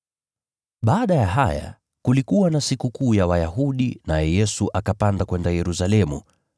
Baada ya haya, kulikuwa na Sikukuu ya Wayahudi, naye Yesu akapanda kwenda Yerusalemu.